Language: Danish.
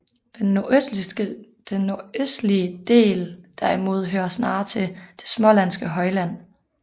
Den nordøstlige del derimod hører snarere til det smålandske højland